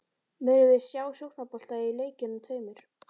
Munum við sjá sóknarbolta í leikjunum tveimur?